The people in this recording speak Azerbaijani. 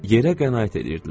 Yerə qənaət eləyirdilər.